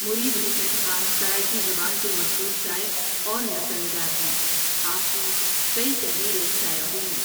مرید حسین خان سرائیکی زبان کے مشہور شاعر اور نثرنگارہیں آپ کی کئی تحریریں شائع ہوئیں۔